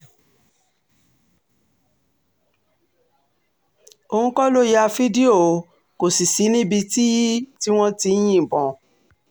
òun kọ́ ló ya fídíò kò sì sí níbi tí wọ́n ti ń yìnbọn